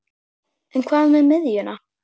En hvað með miðjuna?